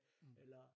Eller